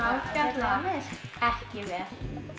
ágætlega vel ekki vel